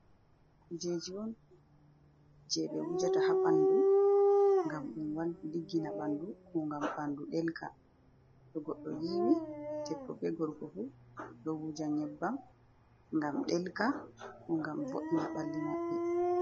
Nyebbam kujeji on je ɓe wujata ha ɓandu gam ɗum ɗiggina bandu, ko ngam ɓandu delka, to goɗɗo yiwi debbo be gorko fu ɗo wuja nyebbam, gam delka gam vo’ina ɓalli maɓɓe.